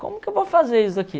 Como que eu vou fazer isso aqui?